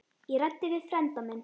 Ég ræddi við frænda minn.